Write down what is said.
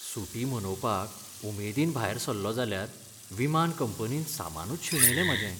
सुटी मनोवपाक उमेदीन भायर सल्लों जाल्यार विमान कंपनीन सामानूच शेणयलें म्हाजें.